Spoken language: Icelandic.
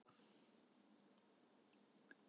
Samningur gerður um sölu á heitu vatni frá